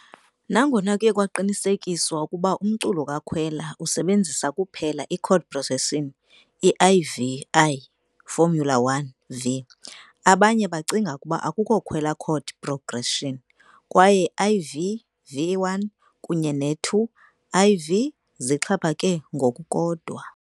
Nangona kuye kwaqinisekiswa ukuba umculo kaKhwela usebenzisa kuphela i- chord progression I-IV-I. formula_1 -V., abanye bagcina ukuba akukho Khwela chord progression, kwaye I-IV-VI kunye II-IV-V zixhaphake ngokukodwa.